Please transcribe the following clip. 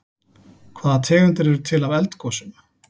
Hvaða tegundir eru til af eldgosum?